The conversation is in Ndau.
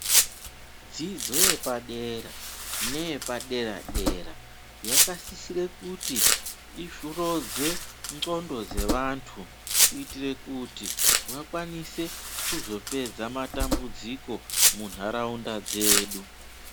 Dzidzo yepadera neyepadera dera yakasisire kuti ihlodze ndxondo dzevanthu kuitire kuti vakwanise kuzopedza matambudziko munharaunda dzedu.